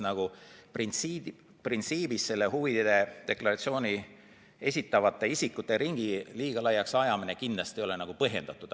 Nii et printsiibis huvide deklaratsiooni esitavate isikute ringi liiga laiaks ajamine kindlasti ei ole põhjendatud.